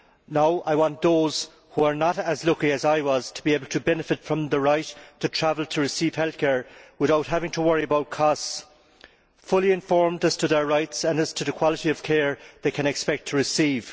Now I want those who are not as lucky as I was to be able to benefit from the right to travel to receive health care without having to worry about costs, fully informed as to their rights and as to the quality of care they can expect to receive.